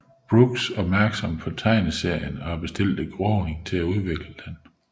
Brooks opmærksom på tegneserien og bestilte Groening til at udvikle den